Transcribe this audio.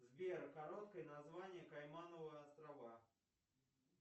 сбер короткое название каймановые острова